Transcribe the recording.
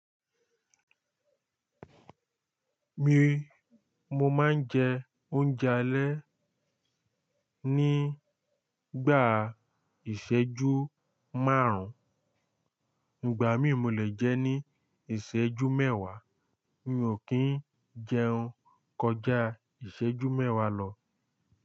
Mi, mo máa ń jẹ oúnjẹ alẹ́ nígbà ìṣẹ́jú márùn, ìgbà mí mo le jẹ ní ìṣẹ́jú mẹ́wàá, mi ò kí ń jẹun kọjá ìṣẹ́jú mẹ́wàá lọ.